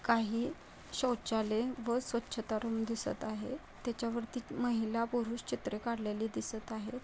काही शौचालय व स्वच्छता रूम दिसत आहे. त्याच्या वरती महिला पुरुष चित्र काढलेली दिसत आहे.